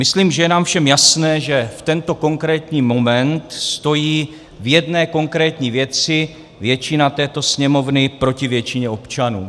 Myslím, že je nám všem jasné, že v tento konkrétní moment stojí v jedné konkrétní věci většina této Sněmovny proti většině občanů.